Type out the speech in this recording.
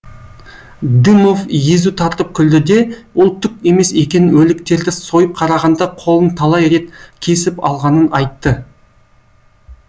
дымов езу тартып күлді де ол түк емес екенін өліктерді сойып қарағанда қолын талай рет кесіп алғанын айтты